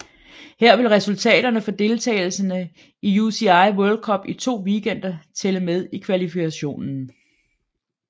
Her vil resultaterne for deltagelsen i UCI World Cup i to weekender tælle med i kvalifikationen